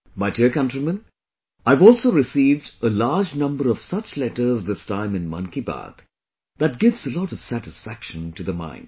My dear countrymen, I have also received a large number of such letters this time in 'Man Ki Baat' that give a lot of satisfaction to the mind